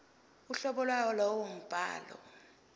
uhlobo lwalowo mbhalo